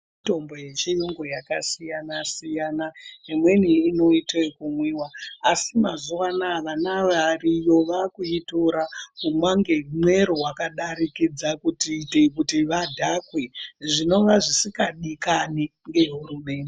Mitombo yechirungu yakasiyana siyana imweni inoitwa yekumwiwa asi mazuva anawa vana variyo vakuitira yakadarikidza kuita vadhakwe zvinova zvisingadikanwe nehurumende.